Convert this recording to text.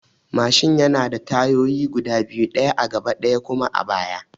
Mashin yana da tayoyi guda biyu: ɗaya a gaba ɗaya kuma a baya